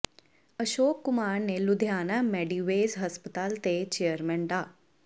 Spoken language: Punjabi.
ਅਸ਼ੋਕ ਕੁਮਾਰ ਨੇ ਲੁਧਿਆਣਾ ਮੈਡੀਵੇਜ਼ ਹਸਪਤਾਲ ਦੇ ਚੇਅਰਮੈਨ ਡਾ